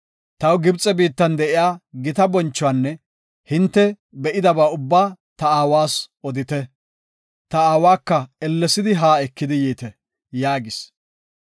Taw Gibxe biittan de7iya gita bonchuwanne hinte be7idaba ubbaa ta aawas odite. Ta aawaka ellesidi haa ekidi yiite” yaagis.